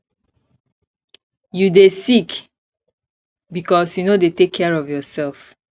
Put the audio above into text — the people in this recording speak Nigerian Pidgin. you dey sick because you no dey take care of yourself